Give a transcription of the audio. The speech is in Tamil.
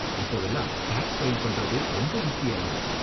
இப்போவெல்லாம் டேக்ஸ் ஃபைல் பண்றது ரொம்ப ஈஸியாயிடுச்சு.